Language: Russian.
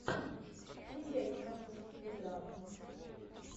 включай киношку в стиле драма